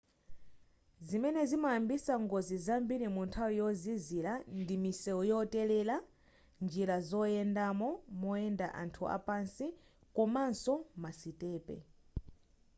zimene zimayambisa ngozi zambiri munthawi yozizira ndi misewu yotelela njira zoyendamo moyenda anthu apasi komaso masitepe